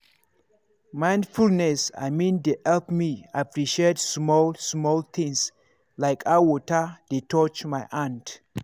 mindfulness i mean dey help me appreciate small-small things like how water dey touch my hand.